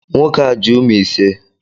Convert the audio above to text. Nwoke a ji umu ise